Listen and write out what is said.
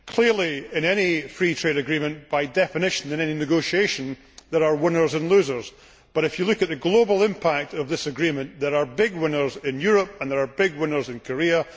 Clearly, in any free trade agreement by definition and in any negotiation, there are winners and losers, but if you look at the global impact of this agreement, there are big winners in Europe and there are big winners in Korea.